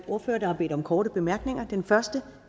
ordførere der har bedt om korte bemærkninger den første